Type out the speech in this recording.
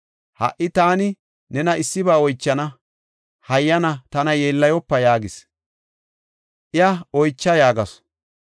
Ha77i taani nena issiba oychana. Hayyana tana yeellayopa” yaagis. Iya, “Oycha” yaagasu.